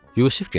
Yusif getdi.